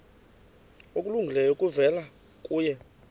okulungileyo kuvela kuye